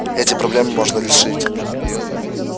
эти проблемы можно решить